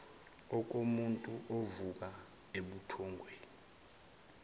okomuntu ovuka ebuthongweni